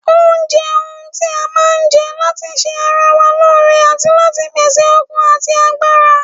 Oúnjẹ ohun tí a máa ń jẹ́ láti ṣe ara wa lóore àti láti pèsè okun ati agbára